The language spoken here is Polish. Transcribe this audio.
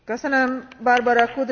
Pani Przewodnicząca!